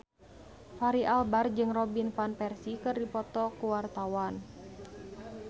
Fachri Albar jeung Robin Van Persie keur dipoto ku wartawan